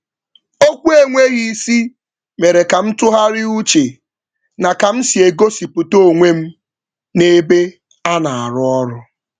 Okwu enweghị isi mere ka m tụgharịa uche na ka m si egosipụta onwe m n’ebe a ọrụ.